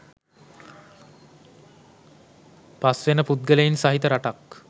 පස් වෙන පුද්ගලයින් සහිත රටක්